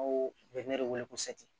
de wele ko